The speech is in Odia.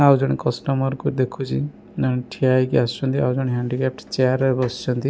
ଆଉ ଜଣେ କଷ୍ଟମର୍ କୁ ଦେଖୁଚି ଜଣେ ଠିଆ ହେଇଚି ଆସୁଛନ୍ତି ଆଉ ଜଣେ ହାଣ୍ଡିକ୍ୟାପ୍ ଚେୟାର ରେ ବସିଛନ୍ତି।